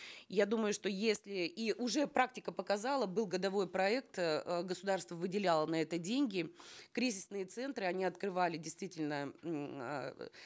я думаю что если и уже практика показала был годовой проект э государство выделяло на это деньги кризисные центры они открывали действительно м э